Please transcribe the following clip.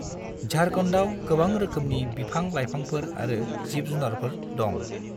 झारखन्डआव गोबां रोखोमनि बिफां-लाइफांफोर आरो जिब-जुनारफोर दं।